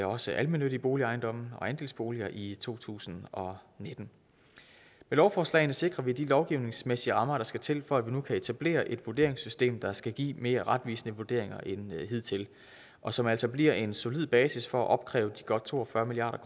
også almennyttige boligejendomme og andelsboliger i to tusind og nitten med lovforslagene sikrer vi de lovgivningsmæssige rammer der skal til for at vi nu kan etablere et vurderingssystem der skal give mere retvisende vurderinger end hidtil og som altså bliver en solid basis for at opkræve de godt to og fyrre milliard